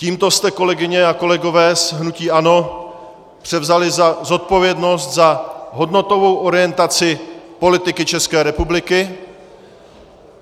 Tímto jste, kolegyně a kolegové z hnutí ANO, převzali zodpovědnost za hodnotovou orientaci politiky České republiky.